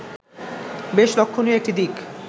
বেশ লক্ষণীয় একটি দিক